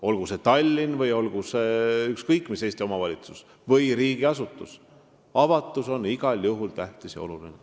Olgu see Tallinn või ükskõik mis Eesti omavalitsus või riigiasutus, avatus on igal juhul tähtis ja oluline.